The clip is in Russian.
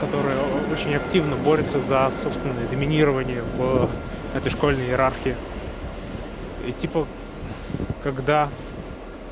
которая очень активно борются за собственное доминирование в этой школьной иерархии и типа когда